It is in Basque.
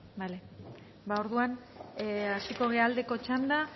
bale ba orduan hasiko gara aldeko txanda